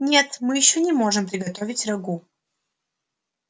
нет мы ещё не можем приготовить рагу